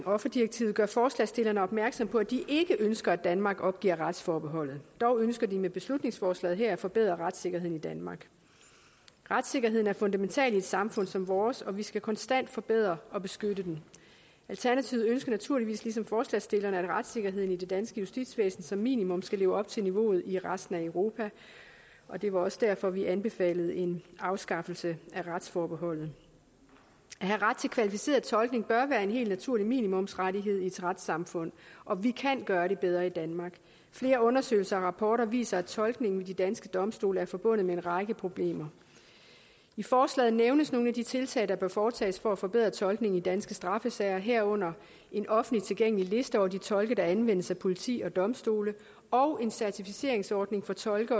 offerdirektivet gør forslagsstillerne opmærksom på at de ikke ønsker at danmark opgiver retsforbeholdet dog ønsker de med beslutningsforslaget her at forbedre retssikkerheden i danmark retssikkerheden er noget fundamentalt i et samfund som vores og vi skal konstant forbedre og beskytte den alternativet ønsker naturligvis ligesom forslagsstillerne at retssikkerheden i det danske justitsvæsen som minimum skal leve op til niveauet i resten af europa det var også derfor vi anbefalede en afskaffelse af retsforbeholdet at have ret til kvalificeret tolkning bør være en helt naturlig minimumsrettighed i et retssamfund og vi kan gøre det bedre i danmark flere undersøgelser og rapporter viser at tolkningen ved de danske domstole er forbundet med en række problemer i forslaget nævnes nogle af de tiltag der bør foretages for at forbedre tolkningen i danske straffesager herunder en offentligt tilgængelig liste over de tolke der anvendes af politi og domstole og en certificeringsordning for tolke